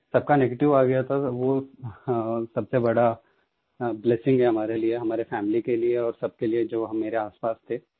सबका नेगेटिव आ गया था वो सबसे बड़ा ब्लेसिंग है हमारे लिये हमारे फैमिली के लिये और सबके लिये जो मेरे आसपास थे